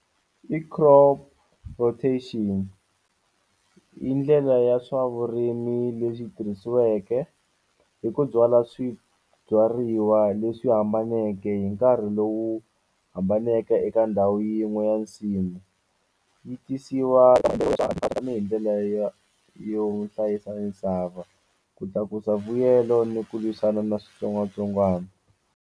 I crop rotation i ndlela ya swa vurimi leswi tirhisiweke hi ku byala swibyariwa leswi hambaneke hi nkarhi lowu hambaneke eka ndhawu yin'we ya nsimu yi tisiwa tanihi ndlela ya yo hlayisa misava ku tlakusa vuyelo ni ku lwisana na switsongwatsongwana.